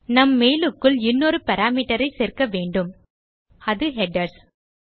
நம் மெயில் க்குள் இன்னொரு பாராமீட்டர் ஐ சேர்க்க வேண்டும் அது ஹெடர்ஸ்